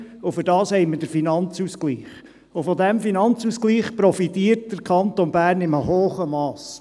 Dafür haben wir den Finanzausgleich, und von diesem Finanzausgleich profitiert der Kanton Bern in einem hohen Mass.